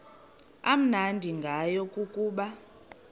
amnandi ngayo kukuba